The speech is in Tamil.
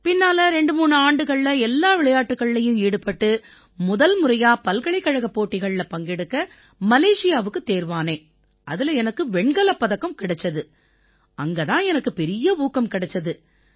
பிறகு 23 ஆண்டுகள் நான் கடுமையா உழைச்சு முதல் முறையா பல்கலைக்கழக போட்டிகள்ல பங்கெடுக்க மலேஷியாவுக்குத் தேர்வானேன் அதில எனக்கு வெண்கலப் பதக்கம் கிடைச்சுது அங்க தான் எனக்குப் பெரிய ஊக்கம் கிடைச்சுது